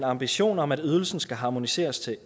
ambition om at ydelsen skal harmoniseres til